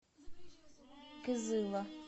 кызыла